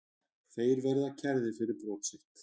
Þeir verða kærðir fyrir brot sitt